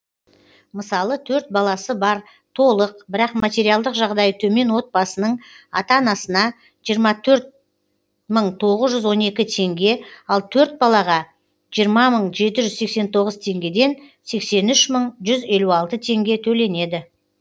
мысалы төрт баласы бар толық бірақ материалдық жағдайы төмен отбасының ата анасына жиырма төрт мың тоғыз жүз он екі теңге ал төрт балаға жиырма мың жеті жүз сексен тоғыз ттеңгеден сексен үш мың жүз елу алты теңге төленеді